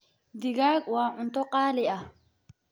Digaag waa cunto qaali ah.